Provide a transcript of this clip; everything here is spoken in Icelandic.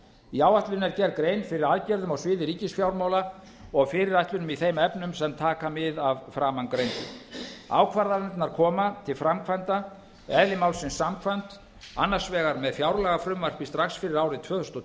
í áætluninni er gerð grein fyrir aðgerðum á sviði ríkisfjármála og fyrirætlunum í þeim efnum sem taka mið af framangreindu ákvarðanirnar koma til framkvæmda eðli málsins samkvæmt annars vegar með fjárlagafrumvarpi strax fyrir árið tvö þúsund og